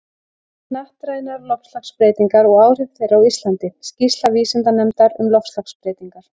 Hnattrænar loftslagsbreytingar og áhrif þeirra á Íslandi: Skýrsla vísindanefndar um loftslagsbreytingar.